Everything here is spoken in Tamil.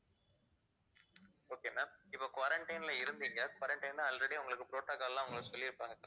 okay ma'am இப்ப quarantine ல இருந்தீங்க quarantine ல already உங்களுக்கு protocol லாம் உங்களுக்கு சொல்லிருப்பாங்க